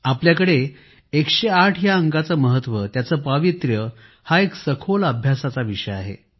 आपल्याकडे 108 या अंकाचे महत्व त्याचे पावित्र्य हा एक सखोल अध्ययनाचा विषय आहे